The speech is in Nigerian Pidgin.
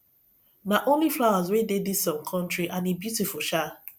na only flowers wey dey dis um country and e beautiful um